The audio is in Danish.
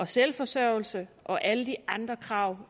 selvforsørgelse og alle de andre krav